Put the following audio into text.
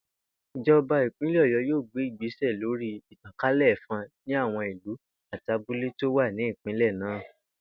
Ìjò̩ba ìpínlè̩ Ò̩yó̩ yóò gbé ìgbésè̩ lórí ìtàkálè̩ è̩fo̩n ní àwo̩n ìlú àti abúlé tí ó wà ní ìpínlè̩ náà